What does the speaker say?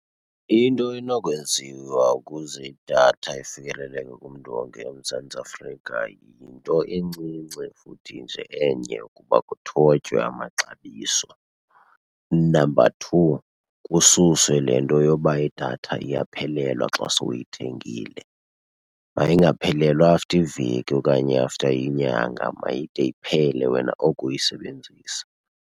Into enokwenziwa ukuze idatha ifikeleleke kumntu wonke eMzantsi Afrika yinto encinci futhi nje enye ukuba kuthotywe amaxabiso. Number two, kususwe le nto yoba idatha iyaphelelwa xa sowuyithengile. Mayingaphelelwa after iveki okanye after inyanga, mayide iphele wena oko uyisebenzisa.